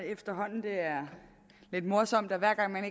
efterhånden det er lidt morsomt at hver gang